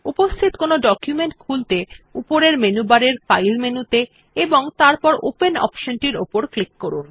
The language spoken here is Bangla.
উপস্থিত কোনো ডকুমেন্ট খুলতে উপরের মেনু বারের ফাইল মেনুতে এবং তারপর ওপেন অপশনটির উপর ক্লিক করুন